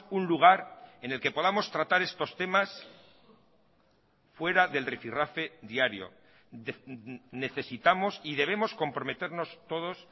un lugar en el que podamos tratar estos temas fuera del rifirrafe diario necesitamos y debemos comprometernos todos